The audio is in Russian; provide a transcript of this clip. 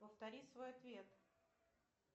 повтори свой ответ